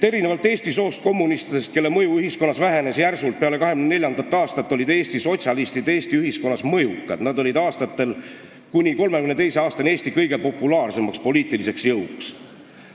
"Erinevalt eesti soost kommunistidest, kelle mõju ühiskonnas vähenes järsult peale 1924. aastat, olid Eesti sotsialistid Eesti ühiskonnas mõjukad, nad olid aastatel 1926–1932 Eesti kõige populaarsemaks erakonnaks.